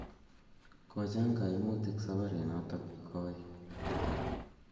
Kochang' kaimutik saparit notok koy